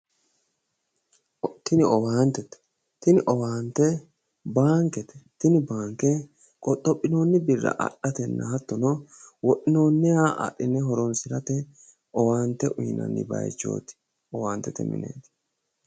Tini owaantete. Tini owaante baankete. Tini baanke qoxophinoonni birra adhatenna Hattono wodhinooniha adhine horoonsirate owaante uyiinani baayiichooti owaantete mineeti.